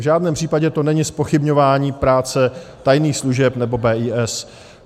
V žádném případě to není zpochybňování práce tajných služeb nebo BIS.